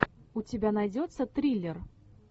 у тебя найдется триллер